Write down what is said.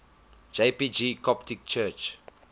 jpg coptic church